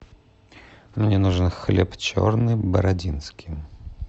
мне нужен хлеб черный бородинский